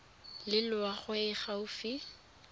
le loago e e gaufi